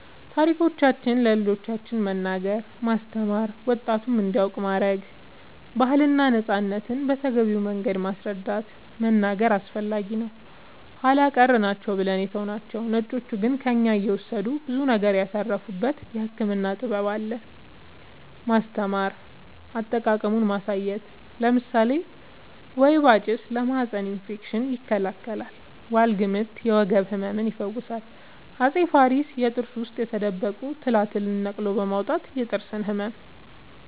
ታሪኮቻችን ለልጆቻን መንገር ማስተማር ወጣቱም እንዲያውቅ ማረግ ባህልና ነፃነትን በተገቢው መንገድ ማስረዳት መናገር አስፈላጊ ነው ኃላ ቀር ናቸው ብለን የተውናቸው ነጮቹ ግን ከእኛ እየወሰዱ ብዙ ነገር ያተረፉበት የህክምና ጥበብ አሉን ማስተማር አጠቃቀሙን ማሳየት ለምሳሌ ወይባ ጭስ ለማህፀን እፌክሽን ይከላከላል ዋልግምት የወገብ ህመም ይፈውሳል አፄ ፋሪስ የጥርስ ውስጥ የተደበቁ ትላትልን ነቅሎ በማውጣት የጥርስ ህመምን